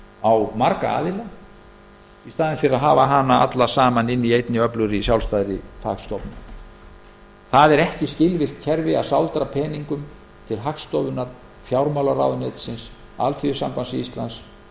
á marga aðila í staðinn fyrir að hafa hana alla í einni öflugri sjálfstæðri fagstofnun það er ekki skilvirkt kerfi að sáldra peningum til hagstofunnar fjármálaráðuneytisins alþýðusambands íslands